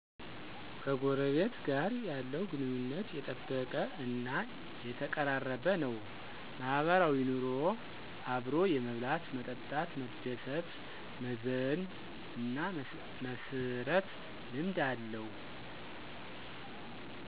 ከጎረቤት ጋር የለው ግንኙነት የጠበቀ እና የተቀራረበ ነው። ማህበራዊ ኑሮ አብሮ የመብላት፣ መጠጣት፣ መደሰት፣ መዘን እና መስረት ልምድ አለ